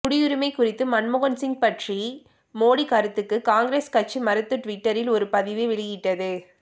குடியுரிமை குறித்து மன்மோகன்சிங் பற்றிய மோடி கருத்துக்கு காங்கிரஸ் கட்சி மறுத்து டுவிட்டரில் ஒரு பதிவு வெளியிட்டது